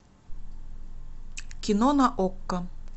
кино на окко